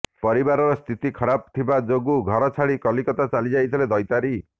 ପରିବାରର ସ୍ଥିତି ଖରାପ ଥିବା ଯୋଗୁଁ ଘର ଛାଡ଼ି କଲିକତା ଚାଲିଯାଇଥିଲେ ଦୈତାରୀ